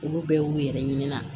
Olu bɛɛ y'u yɛrɛ ɲini na